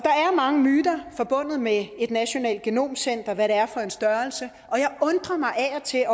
mange myter forbundet med et nationalt genomcenter og hvad det er for en størrelse og jeg undrer mig af og til